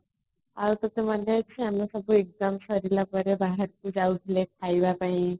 ଆଉ ତତେ ମାନେ ଅଛି ଆମେ ସବୁ exam ସରିଲା ପରେ ବାହାରକୁ ଯାଉଥିଲେ ଖାଇବା ପାଇଁ